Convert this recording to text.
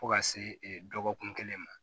Fo ka se dɔgɔkun kelen ma